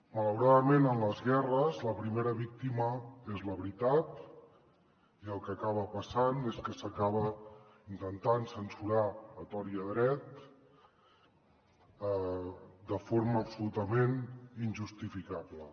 malauradament en les guerres la primera víctima és la veritat i el que acaba passant és que s’acaba intentant censurar a tort i a dret de forma absolutament injustificable